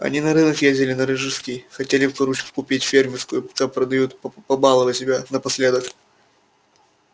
они на рынок ездили на рижский хотели курочку купить фермерскую пока продают побаловать себя напоследок